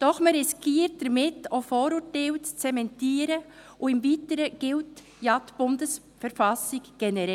Doch man riskiert damit auch, Vorurteile zu zementieren, und im Weiteren gilt die BV ja generell.